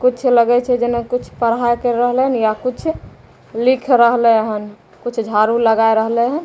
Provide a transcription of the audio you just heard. कुछ लगै छै जेना कुछ पढ़ा कर रहले हन या कुछ लिख रहले हन कुछ झाड़ू लगाय रहले हन।